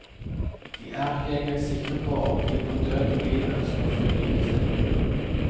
De er ikke engang sikre på om de på død og liv ønsker full likestilling.